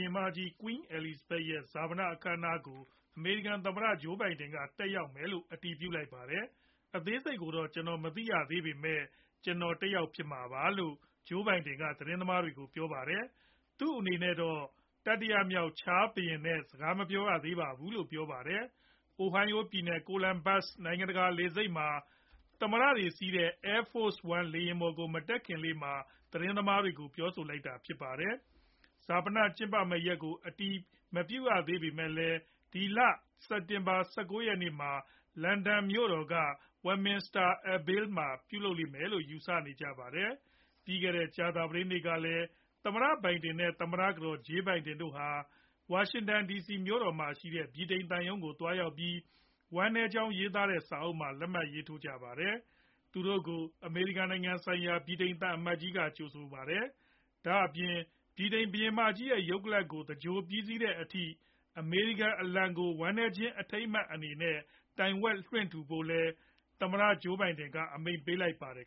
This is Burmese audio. င်မကြီး Queen Elizabeth ရဲ့ ဈာပန အခမ်းအနားကို အမေရိကန် သမ္မတ Joe Biden က တက်ရောက်မယ်လို့ အတည်ပြုလိုက်ပါတယ်။ " အသေးစိတ်ကိုတော့ ကျနော်မသိရသေးပေမယ့် ကျနော် တက်ရောက်မှာ ဖြစ်ပါတယ် " လို့ Joe Biden က သတင်းသမားတွေကို ပြောပါတယ်။ သူအနေနဲ့တော့ တတိယမြောက် Charles III ဘုရင်နဲ့တော့ စကားမပြေားရသေးပါဘူးလို့လည်း ပြောပါတယ်။ Ohio ပြည်နယ် Columbus နိုင်ငံတကာ လေဆိပ်မှာ Air Force One လေယာဉ်ပေါ်ကို မတက်ခင်လေးမှာ သတင်းသမားတွေကို ပြောဆိုလိုက်တာဖြစ်ပါတယ်။ ဈာပန ကျင်းပမဲ့ ရက်ကို အတိအကျ အတည်မပြုရသေးပေမဲ့လည်း ဒီလ စက်တင်ဘာ ၁၉ ရက်နေ့မှာ London မြို့တော်က Westminster Abbey မှာ ပြုလုပ်လိမ့်မယ်လို့ ယူဆနေကြပါတယ်။ ပြီးခဲ့တဲ့ ကြာသပတေးနေ့ကလည်း သမ္မတ Biden နဲ့ သမ္မတကတော် Jill Biden တို့ဟာ ဝါရှင်တန်ဒီစီမြို့တော်မှာရှိတဲ့ ဗြိတိန် သံရုံးကို သွားရောက်ပြီး ဝမ်းနည်းကြောင်း ရေးသားတဲ့ စာအုပ်မှာ လက်မှတ်ရေးထိုးခဲ့ပါတယ်။ သူတို့ကို အမေရိကန် နိုင်ငံဆိုင်ရာ ဗြိတိန်သံအမတ်ကြီး က ကြိုဆိုပါတယ်။ ဒါအပြင် ဗြိတိန်ဘုရင်မကြီး ရုပ်ကလပ် ကို သဂြိုလ်ပြီးတဲ့အထိ အမေရိကန် အလံကို ဝမ်းနည်းခြင်းအထိမ်းအမှတ်အနေနဲ့ တိုင်ဝက်လွှင့်ထူကြဖို့လည်း သမ္မတ Joe Biden က အမိန့်ပေးလိုက်ပါတယ်